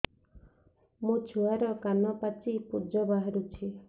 ମୋ ଛୁଆର କାନ ପାଚି ପୁଜ ବାହାରୁଛି